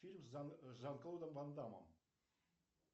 фильм с жан клодом ванда мом